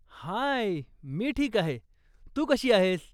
हाय, मी ठीक आहे. तू कशी आहेस?